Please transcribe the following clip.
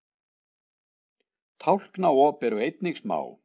tálknaop eru einnig smá